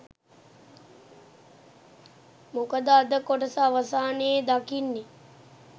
මොකද අද කොටස අවසානයේ දකින්නේ